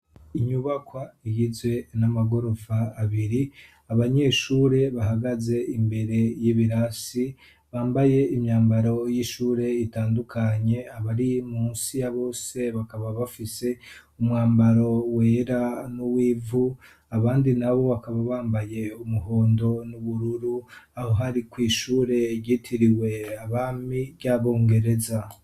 Inyubakwa igizwe n'amagorofa abiri , abanyeshure bahagaze imbere y'ibirasi, bambaye imyambaro y'ishure itandukanye abari munsi ya bose bakaba bafise umwambaro wera n'uwivu abandi nabo bakaba bambaye umuhondo n'ubururu ,aho hari kw’ishure ryitiriwe abami ry’abongereza.